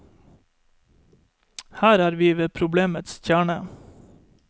Her er vi ved problemets kjerne.